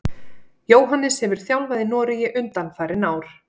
Jóhannes hefur þjálfað í Noregi undanfarin ár.